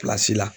la